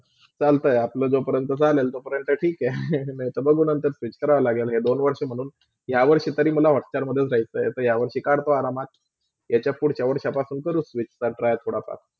चालते आपला जेवहपर्यंत चालेल तेव्हा पर्यंत ठीक आहे नायते बघू नंतर switch करया लागेल यह दोन वर्ष म्हणून या वर्षीतर मला Hotstar जायचं तर या वर्षी करतो आरामात त्याचपुडच्या वर्षापासून करु switch खर्च आहे थोडचा